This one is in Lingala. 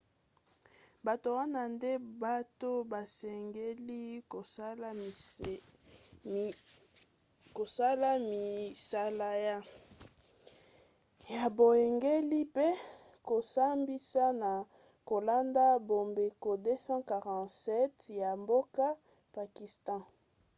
bato wana nde bato basengeli kosala misala ya boyangeli pe ya kosambisa na kolanda mobeko 247 ya mboka pakistan